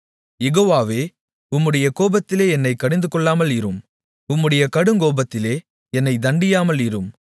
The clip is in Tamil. யெகோவாவே உம்முடைய கோபத்திலே என்னைக் கடிந்துகொள்ளாமல் இரும் உம்முடைய கடுங்கோபத்திலே என்னைத் தண்டியாமல் இரும்